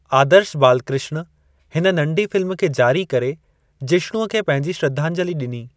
आदर्श बालकृष्ण हिन नंढी फ़िल्म खे जारी करे जिष्णुअ खे पंहिंजी श्रद्धांजलि ॾिनी।